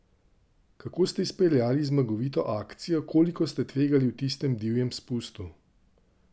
In kje vi danes preživljate peklensko vročino?